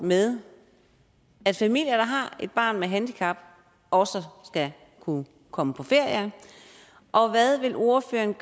med at familier der har et barn med handicap også skal kunne komme på ferie og hvad vil ordføreren